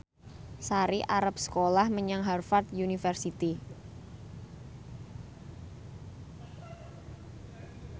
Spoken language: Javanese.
Sari arep sekolah menyang Harvard university